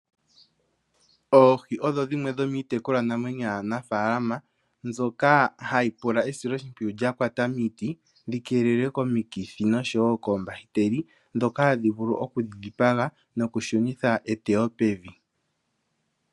Oohi odho dhimwe dhomiitekulwa namwenyo yaanafaalama, mbyoka hayi pula esiloshimpwiyu lya kwata miiti, dhi keelelwe komikithi noshowo koombahiteli, ndhoka hadhi vulu okudhi dhipaga, nokushunitha eteyo pevi.